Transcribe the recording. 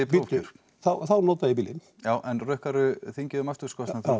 bíddu þá nota ég bílinn já en rukkar þú þingið um aksturskostnað þá